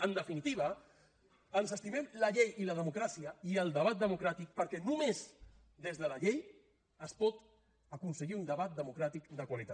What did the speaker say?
en definitiva ens estimem la llei i la democràcia i el debat democràtic perquè només des de la llei es pot aconseguir un debat democràtic de qualitat